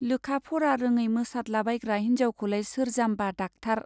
लोखा-फरा रोङै मोसादलाबायग्रा हिन्जावखौलाय सोर जाम्बा डाक्टार